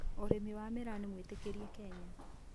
Ũrĩmi wa mĩraa nĩ mwĩtĩkĩrie Kenya